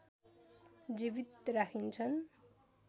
जीवित राखिन्छन्